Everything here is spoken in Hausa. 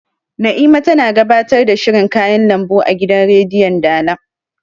Na'ima tana gabatar da shirin kayan lambu a gidan rediyon dala